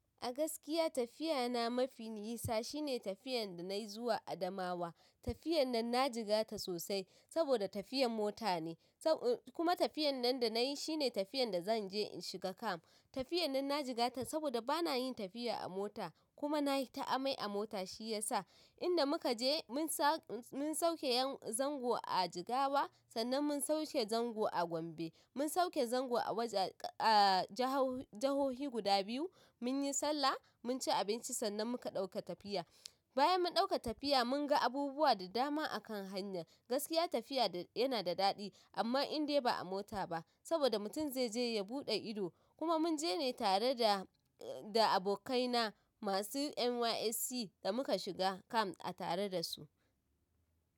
A gaskiya tafiya na mafi nisa shine tafiyan da nayi zuwa Adamawa. Tafiyan nan na jigata sosai saboda tafiyan mota ne. Kuma tafiyan nan da nayi shine tafiyan da zanje in shiga camp. Tafiyan nan na jigata saboda bana yin tafiya a mota kuma nayi ta amai a mota shiyasa. Inda muka je mun sauke zango a Jigawa sannan mun sauke zango a Gombe. Mun sauke zango a wajeje ahh jahau jahohi guda biyu munyi sallah munci abinci sannan muka ɗauka tafiya. Bayan mun ɗauka tafiya mun ga abubuwa da dama a kan hanya. Gaskiya tafiya da. Yana da daɗi, amma indai ba a mota ba saboda mutum zai je ya buɗe ido. Kuma munje ne tare da. Da abokaina masu NYSC da muka shiga camp a tare da su.